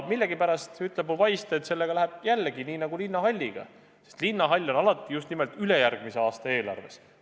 Millegipärast ütleb mu vaist, et sellega läheb samamoodi nagu Linnahalliga, mis on alati just nimelt ülejärgmise aasta eelarves.